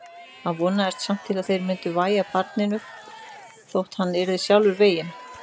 Hann vonaðist samt til að þeir myndu vægja barninu þótt hann yrði sjálfur veginn.